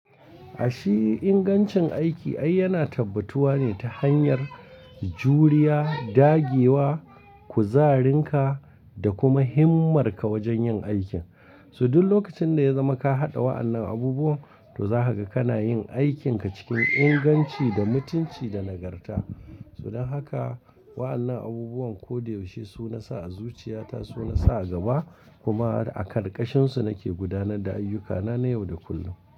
A shi ingancin aiki ai yana tabbutuwa ne ta hanyar juriya, daggewa, kuzarinka da kuma himmarka wajen yin aikin. So duk lokacin da ya zama ka haɗa wa'annan abubuwan to zahaka kana yin aikinka cikin inganci da mutunci da nagarta. So dan haka wa'annan abubuwan ko da yaushe su na sa a zuciyata su na sa a gaba kuma a karkashinsu nake gudanar da ayyukana na yau da kullum.